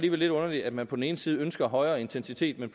er lidt underligt at man på den ene side ønsker en højere intensitet men